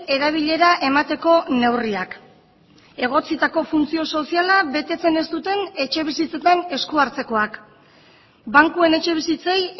erabilera emateko neurriak egotzitako funtzio soziala betetzen ez duten etxebizitzetan esku hartzekoak bankuen etxebizitzei